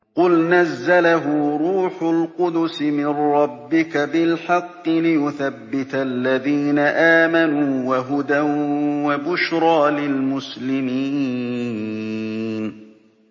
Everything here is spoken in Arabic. قُلْ نَزَّلَهُ رُوحُ الْقُدُسِ مِن رَّبِّكَ بِالْحَقِّ لِيُثَبِّتَ الَّذِينَ آمَنُوا وَهُدًى وَبُشْرَىٰ لِلْمُسْلِمِينَ